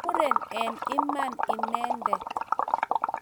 Muren eng' iman inendet.